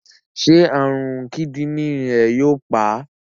Ṣé àrùn kíndìnrín rẹ̀ yóò pa á?